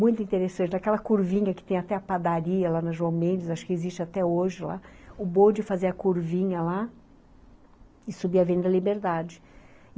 Muito interessante, aquela curvinha que tem até a padaria lá na João Mendes, acho que existe até hoje lá, o bode fazia a curvinha lá e subia a Avenida Liberdade.